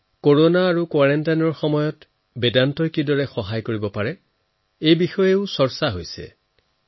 corona আৰু কোৱাৰেণ্টাইনৰ সময়ছোৱাত বেদান্তই কিদৰে সহায় কৰিব পাৰে সেয়া জনাৰ বাবে জনসাধাৰণক এই বিষয়ে বহু আগ্ৰহ আছে